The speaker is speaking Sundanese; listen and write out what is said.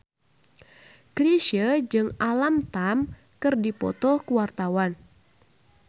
Chrisye jeung Alam Tam keur dipoto ku wartawan